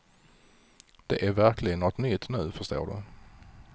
Det är verkligen något nytt nu, förstår du.